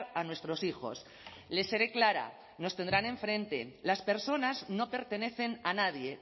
a nuestros hijos les seré clara nos tendrán enfrente las personas no pertenecen a nadie